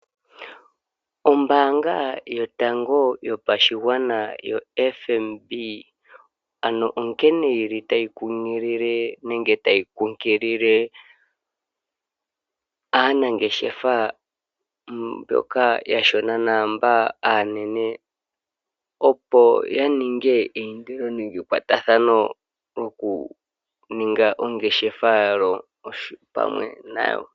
Ombaanga yotango yopashigwana yoFNB ano onkene yili tayi kunkilile aanangeshefa mboka aashona naamboka aanene opo yaninge omayindilo nenge omakwatathano nokuninga ongeshefa yawo pamwe nayo.